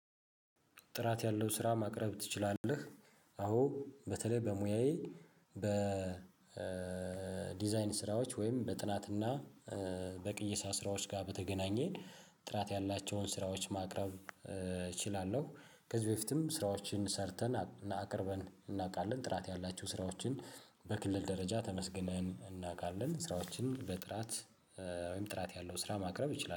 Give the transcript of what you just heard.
ጥራት ያለው ስራ ማቅረብ ትችላለህ? አዎ በተለይ በሙያዬ በዲዛይን ስራዎች ወይም በጥናትና በቅይሳ ስራዎች ጋር በተገናኘ ጥራት ያላቸውን ስራዎች ማቅረብ እችላለው። ከዚህ በፊትም ስራዎችን ሰርተን እቅርበን እናውቃለን ጥራት ያላችሁ ስራዎችን። በክልል ደረጃ ተመስግነን እናውቃለን ስራዎችን በጥራት ወይም ጥራት ያለው ስራ ማቅረብ ይችላል።